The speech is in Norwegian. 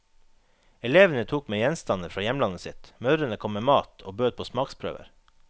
Elevene tok med gjenstander fra hjemlandet sitt, mødrene kom med mat og bød på smaksprøver.